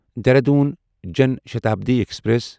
Dehradun Jan Shatabdi express